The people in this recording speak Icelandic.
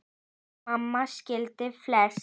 Því mamma skildi flest.